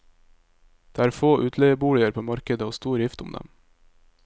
Det er få utleieboliger på markedet og stor rift om dem.